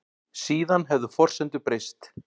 Síðan hefðu forsendur breyst